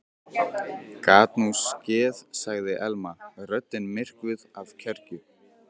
Gat nú skeð sagði Elma, röddin myrkvuð af kergju.